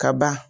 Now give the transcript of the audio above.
Ka ban